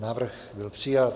Návrh byl přijat.